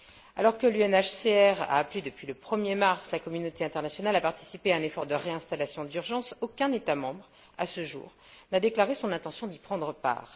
Alors que l'UNHCR a appelé depuis le 1er mars la communauté internationale à participer à un effort de réinstallation d'urgence, aucun État membre, à ce jour, n'a déclaré son intention d'y prendre part.